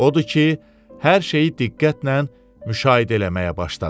Odur ki, hər şeyi diqqətlə müşahidə eləməyə başladı.